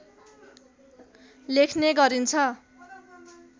लेख्ने गरिन्छ